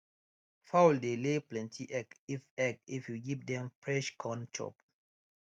fowl dey lay plenty egg if egg if you give dem fresh corn chop